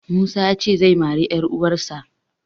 Musa ya ce zai mari 'yaruwarsa.